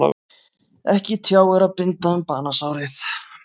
Ekki tjáir að binda um banasárið.